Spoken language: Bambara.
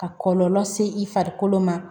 Ka kɔlɔlɔ se i farikolo ma